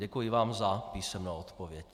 Děkuji vám za písemnou odpověď.